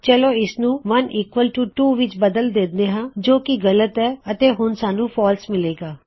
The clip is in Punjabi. ਚਲੋ ਇਸਨੂੰ 1 ਬਰਾਬਰ 2 ਵਿੱਚ ਬਦਲ ਦਿੰਦੇ ਹਾਂ ਜੋ ਕੀ ਗਲਤ ਹੈ ਅਤੇ ਹੁਣ ਸਾੱਨੂੰ ਫਾਲਸ ਮਿਲੇਗਾ